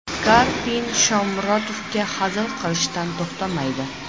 Karpin Shomurodovga hazil qilishdan to‘xtamaydi.